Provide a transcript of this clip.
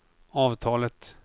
avtalet